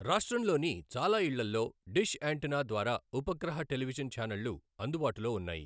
రాష్ట్రంలోని చాలా ఇళ్లలో డిష్ యాంటెన్నా ద్వారా ఉపగ్రహ టెలివిజన్ ఛానళ్లు అందుబాటులో ఉన్నాయి.